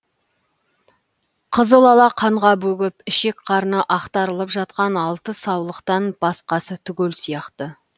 қызылала қанға бөгіп ішек қарны ақтарылып жатқан алты саулықтан басқасы түгел сияқты